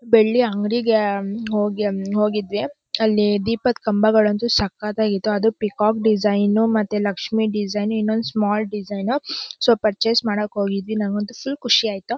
ಬೆಳ್ಳಿ ಅಂಗಡಿಗೆ ಹೋಗಿ ಹೋಗಿದ್ವಿ ಅಲ್ಲಿ ದೀಪದ್ ಕಂಬಗಳಂತೂ ಸಕ್ಕತ್ ಆಗಿತು ಅದು ಪೀಕಾಕ್ ಡಿಸೈನ್ ಮತ್ತೆ Lakshmi design small design so purchase ಹೋಗಿದ್ದೆ ನಂಗಂತೂ ಫುಲ್ ಖುಷಿ ಆಯಿತು .